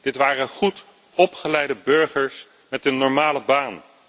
Dit waren goed opgeleide burgers met een normale baan.